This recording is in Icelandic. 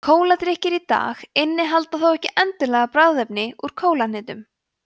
kóladrykkir í dag innihalda þó ekki endilega bragðefni úr kólahnetu